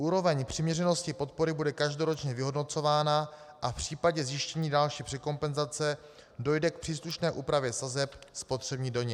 Úroveň přiměřenosti podpory bude každoročně vyhodnocována a v případě zjištění další překompenzace dojde k příslušné úpravě sazeb spotřební daně.